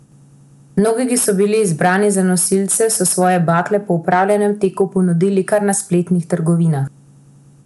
Mnogi, ki so bili izbrani za nosilce, so svoje bakle po opravljenem teku ponudili kar na spletnih trgovinah.